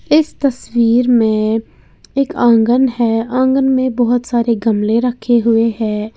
इस तस्वीर में एक आंगन है आंगन में बहोत सारे गमले रखे हुए हैं।